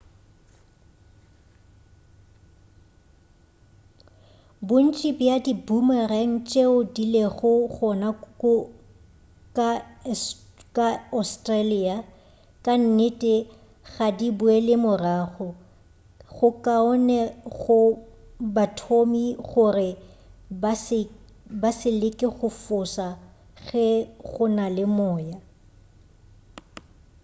bontši bja di-boomerang tšeo di lego gona ka australia ka nnete ga di boele morago go kaone go bathomi gore ba se leke go foša ge go na le moya